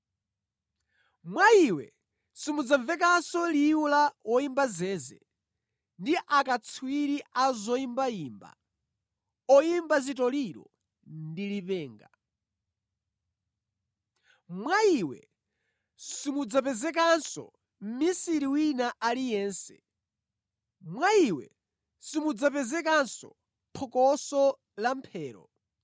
Mwa iwe simudzamvekanso liwu la woyimba zeze, ndi akatswiri a zoyimbayimba, oyimba zitoliro, ndi lipenga. Mwa iwe simudzapezekanso mʼmisiri wina aliyense. Mwa iwe simudzapezekanso phokoso la mphero.